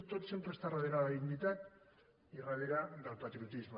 tot sempre està darrere la dignitat i darrere del patriotisme